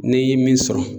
Ne ye min sɔrɔ